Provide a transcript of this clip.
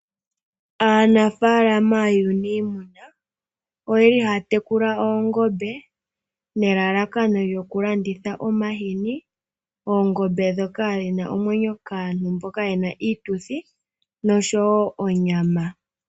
Aanafalama yunimuna oyeli haya tekula oongombe nelalakano lyoku landitha omahini, oongombe dhoka dhina omwenyo kaantu mboka yena iituthi noshowo onyama.